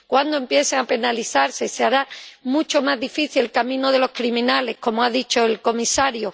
cuando empiecen a penalizarse se hará mucho más difícil el camino de los criminales, como ha dicho el comisario.